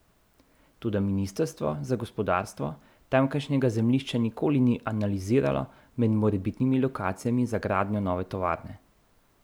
Toda ministrstvo za gospodarstvo tamkajšnjega zemljišča nikoli ni analiziralo med morebitnimi lokacijami za gradnjo nove tovarne.